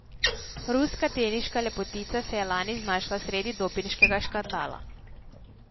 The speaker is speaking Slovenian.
Ruska teniška lepotica se je lani znašla sredi dopinškega škandala.